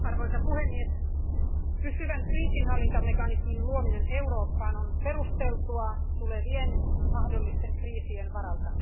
Arvoisa puhemies, pysyvän kriisinhallintamekanismin luominen Eurooppaan on perusteltua mahdollisten tulevien kriisien varalta.